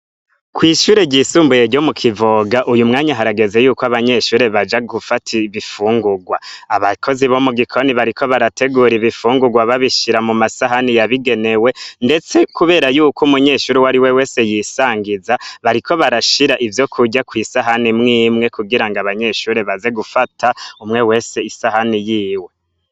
Kw'ishure ryisumbuye ryo mu kivoga uyu mwanya aharageze yuko abanyeshure baja gufata ibifungurwa abakozi bo mu gikoroni bariko barategura ibifungurwa babishira mu masahani yabigenewe, ndetse, kubera yuko umunyeshuri wari we wese yisangiza bariko barashira ivyo kurya kw'isahani mwimwe kugira ngo abanyeshure bazewo gufata umwe wese isahani yiwe.